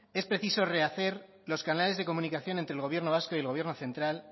es preciso rehacer los canales de comunicación entre el gobierno vasco y el gobierno central